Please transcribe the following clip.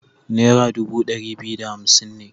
Nera dubu ɗari biyu da hamsin ne.